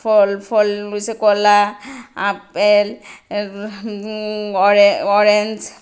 ফল-ফল রয়েছে কলা আপেল এর উম অ-অরেঞ্জ ।